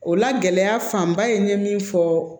O la gɛlɛya fanba ye n ye min fɔ